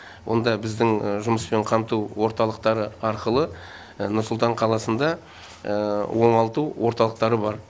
онда біздің жұмыспен қамту орталықтары арқылы нұр сұлтан қаласында оңалту орталықтары бар